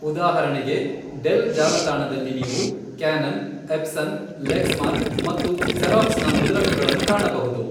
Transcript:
ಉದಾಹರಣೆಗೆ, ಡೆಲ್ ಜಾಲತಾಣದಲ್ಲಿ ನೀವು ಕ್ಯಾನನ್, ಎಪ್ಸನ್, ಲೆಕ್ಸ್ ಮಾರ್ಕ್ ಮತ್ತು ಜೆರಾಕ್ಸ್ ನ ಮುದ್ರಕಗಳನ್ನು ಕಾಣಬಹುದು.